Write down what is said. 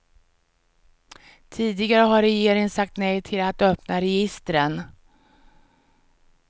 Tidigare har regeringen sagt nej till att öppna registren.